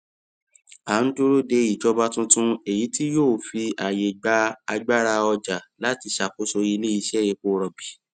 a ń dúró de ìjọba tuntun èyí tí yóò fi ààyè gba agbára ọjà láti ṣàkóso iléiṣẹ epo rọbì